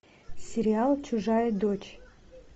сериал чужая дочь